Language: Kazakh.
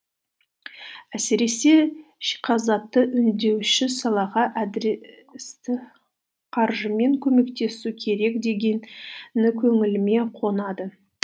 әсіресе өңдеуші салаға адресті қаржымен көмектесу керек дегені көңіліме қонады